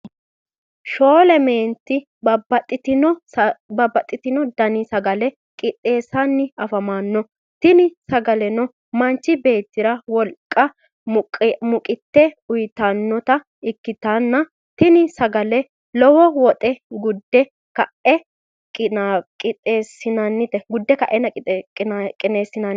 shoole meenti babaxitino danni sagalle qixeesanni afamanno tinni sagalleno manchu beetira woliqanna muqqete uyitannota ikitanna tinni sagalle lowo woxxe gunde ka'nne qixeesinoonnite